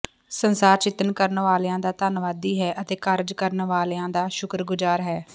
ਸੰਸਾਰ ਚਿੰਤਨ ਕਰਨ ਵਾਲਿਆਂ ਦਾ ਧੰਨਵਾਦੀ ਹੈ ਅਤੇ ਕਾਰਜ ਕਰਨ ਵਾਲਿਆਂ ਦਾ ਸ਼ੁਕਰਗੁਜ਼ਾਰ ਹੈ